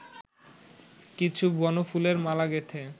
কিছু বনফুলের মালা গেঁথে